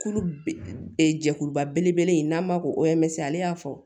Kulu jɛkuluba belebele in n'a ma ko o hɛri ale y'a fɔ